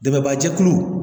Dɛmɛbaajɛkulu